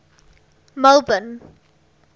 melbourne